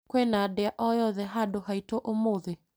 Kwĩna ndĩa o yothe handũ haitũ ũmũthĩ ?